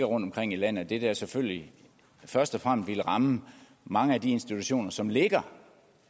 rundtomkring i landet jo selvfølgelig først og fremmest ville ramme mange af de institutioner som ligger